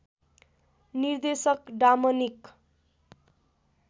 निर्देशक डामनिक